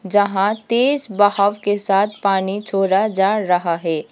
जहां तेज बहाव के साथ पानी छोड़ा जा रहा है।